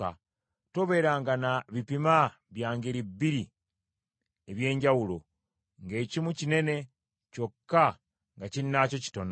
Tobeeranga na bipima bya ngeri bbiri eby’enjawulo, ng’ekimu kinene, kyokka nga kinnaakyo kitono.